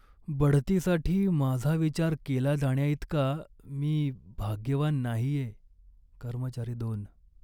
बढतीसाठी माझा विचार केला जाण्याइतका मी भाग्यवान नाहीये. कर्मचारी दोन